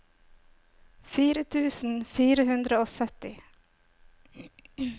fire tusen fire hundre og sytti